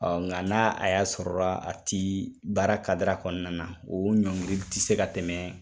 Ɔ nka n'a a y'a sɔrɔ la , a ti baara kadira kɔnɔna na, o ɲɔngiri tɛ se ka tɛmɛ